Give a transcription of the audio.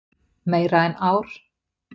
Meira en ár.